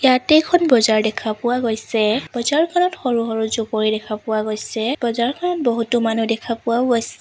ইয়াতে এখন বজাৰ দেখা পোৱা গৈছে বজাৰখনত সৰু সৰু জুপুৰি দেখা পোৱা গৈছে বজাৰখনত বহুতো মানুহ দেখা পোৱাও গৈছ--